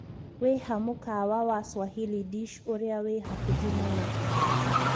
wĩha mũkawa wa Swahili dish ũrĩa wĩ hakũhi mũno